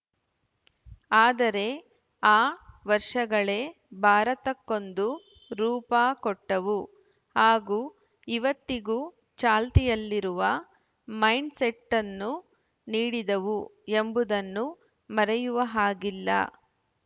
ಆದರೆ ಆ ವರ್ಷಗಳೇ ಭಾರತಕ್ಕೊಂದು ರೂಪ ಕೊಟ್ಟವು ಹಾಗೂ ಇವತ್ತಿಗೂ ಚಾಲ್ತಿಯಲ್ಲಿರುವ ಮೈಂಡ್‌ಸೆಟ್ಟನ್ನು ನೀಡಿದವು ಎಂಬುದನ್ನು ಮರೆಯುವಹಾಗಿಲ್ಲ